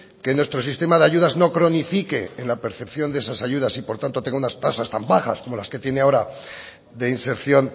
que nuestro sistema de ayudas no cronifiquen la percepción de esas ayudas y por tanto tenga unas tasas tan bajas como las que tiene ahora de inserción